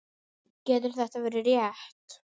Getur þetta verið rétt?